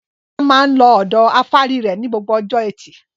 Bọ́lá máa ń lọ ọ̀dọ afárí rẹ̀ ní gbogbo ọjọ́ ẹtì.